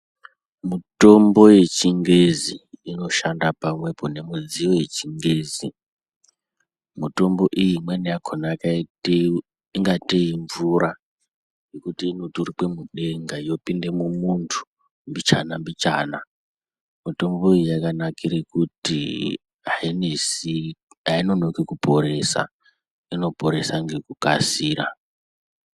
Mitombo yechingezi inoshanda pamwepo nemidziyo yechingezi. Mitombo iyi yakhona yakaite kungatei mvura. Yekuti, inoturikwa mudenga yopinde mumuntu mbichana-mbichana. Mitombo iyi yakanakire kuti hainonoki kuporesa, inoporesa ngekukasika.